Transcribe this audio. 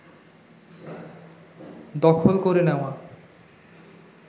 দখল করে নেওয়া